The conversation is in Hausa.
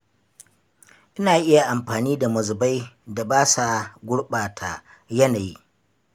Ina iya amfani da mazubai da ba sa gurɓata yanayi.